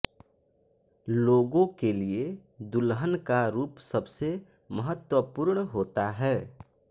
लोगों के लिए दुल्हन का रूप सबसे महत्वपूर्ण होता है